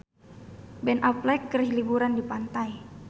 Ben Affleck keur liburan di pantai